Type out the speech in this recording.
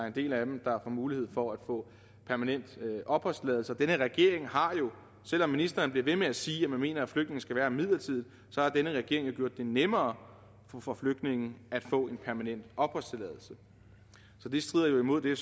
en del af dem der får mulighed for at få permanent opholdstilladelse og denne regering har jo selv om ministeren bliver ved med at sige mener at flygtninge skal være her midlertidigt gjort det nemmere for flygtninge at få en permanent opholdstilladelse så det strider imod det